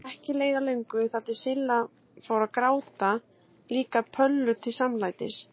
Og ekki leið á löngu þar til Silla fór að gráta líka Pöllu til samlætis.